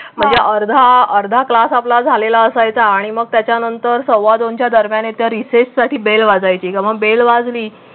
म्हणजे अर्धा अर्धा क्लास आपला झालेला असायचा आणि मग त्याच्या नंतर सव्वा दोन च्या दरम्यान येत्या रिसेससाठी बेल वाजायची. मग बेल वाजली